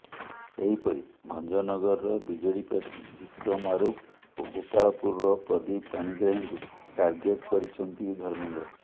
ସେହିପରି ଭଞ୍ଜନଗରର ବିଜେଡି ପ୍ରାର୍ଥୀ ବିକ୍ରମ ଆରୁଖ ଓ ଗୋପାଳପୁରର ପ୍ରଦୀପ ପାଣିଗ୍ରାହୀଙ୍କୁ ର୍ଟାଗେଟ୍ କରିଛନ୍ତି ଧର୍ମେନ୍ଦ୍ର